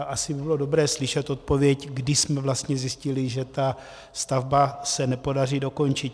A asi by bylo dobré slyšet odpověď, kdy jsme vlastně zjistili, že tu stavbu se nepodaří dokončit.